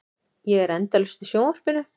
Ég er endalaust í sjónvarpinu.